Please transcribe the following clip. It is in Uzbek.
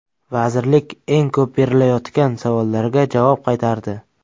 Vazirlik eng ko‘p berilayotgan savollarga javob qaytardi.